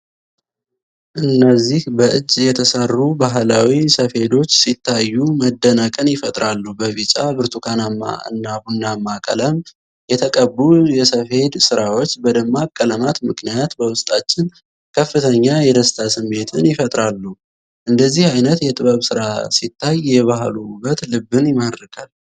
እነዚህ በእጅ የተሠሩ ባህላዊ ሰፌዶች ሲታዩ መደነቅን ይፈጥራሉ። በቢጫ፣ ብርቱካናማ እና ቡናማ ቀለም የተቀቡ የሰፌድ ሥራዎች፤ በደማቅ ቀለማት ምክንያት በውስጣችን ከፍተኛ የደስታ ስሜትን ይፈጥራሉ:: እንደዚህ አይነት የጥበብ ሥራ ሲታይ፤ የባህሉ ውበት ልብን ይማርካል::